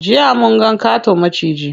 Jiya munga ƙaton maciji.